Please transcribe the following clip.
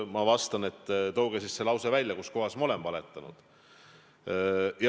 Ma vastan, et tooge siis see lause, kuskohas ma olen valetanud.